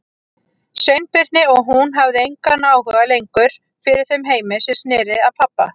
Sveinbirni og hún hafði engan áhuga lengur fyrir þeim heimi sem sneri að pabba.